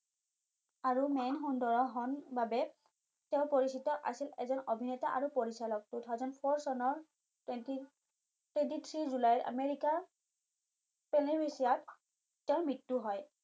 আৰু মেন সুন্দৰ হন বাবে তেওঁ পৰিচিত আছিল এজন অভিনেতা আৰু পৰিচালক two thousand four চনৰ twenty-three জুলাইৰ আমেৰিকাৰ peniviciat তেওঁ মৃত্যু হয়